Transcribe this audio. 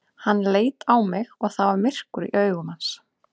Hann leit á mig og það var myrkur í augum hans.